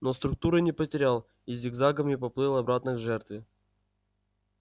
но структуры не потерял и зигзагами поплыл обратно к жертве